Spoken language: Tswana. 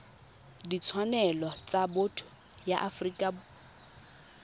ditshwanelo tsa botho ya afrika